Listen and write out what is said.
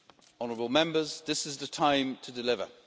Honourable Members, this is the time to deliver